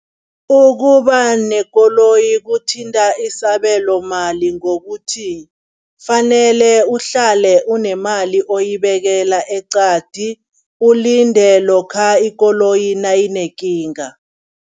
Ukuba nekoloyi kuthinta isabelomali ngokuthi, kufanele uhlale unemali oyibekela eqadi ulinde lokha ikoloyi nayinekinga.